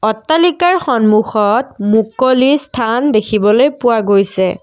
অট্টালিকাৰ সন্মুখত মুকলি স্থান দেখিবলৈ পোৱা গৈছে।